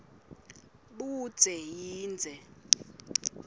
budze yindze